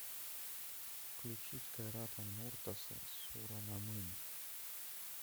включить кайрата нуртаса суранамын